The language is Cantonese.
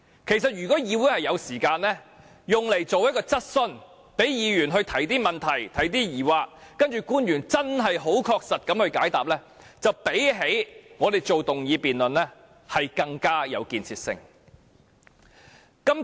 其實，如果議會能花時間舉行一項質詢環節，讓議員就此事提出疑問，再由官員確實解答，會較我們現時進行議案辯論更有建設性。